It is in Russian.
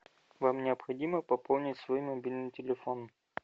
вам необходимо пополнить свой мобильный телефон